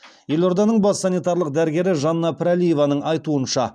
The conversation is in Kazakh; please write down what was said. елорданың бас санитарлық дәрігері жанна пірәлиеваның айтуынша